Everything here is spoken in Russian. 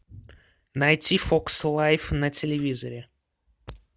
найти фокс лайф на телевизоре